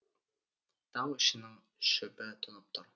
тау ішінің шөбі тұнып тұр